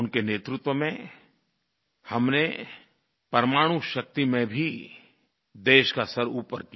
उनके नेतृत्व में हमने परमाणु शक्ति में भी देश का सिर ऊपर किया